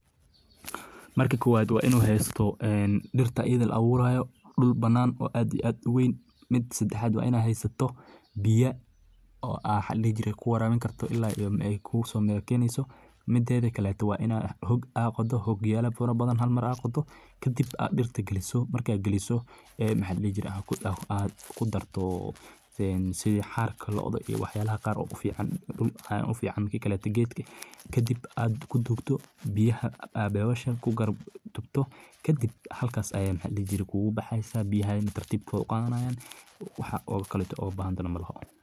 Markii kowaad wa inuhaysto dirta iyada laaburayo duul banan oo aad iyo aad uweyn mida sadaxad wainad haysato biiyo as kuwarabani kartiit ilaa ay kumiro keyneyso mideda kala waina hoog aa qodo, hogyalo fara badan halmar aa qodo kadib aa dirta geliso markas geliso aa kudarto xaar looda iyo wax yala qar ee kufican kadiib aa kuduwdo biyaah kadiib halkas ay kugubaxeysa biyaha tartib kuguqadanaya wax kaleto ubahantahay malaha.